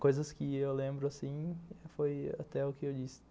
Coisas que eu lembro assim, foi até o que eu disse.